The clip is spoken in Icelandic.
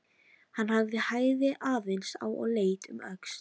Hann hægði aðeins á og leit um öxl.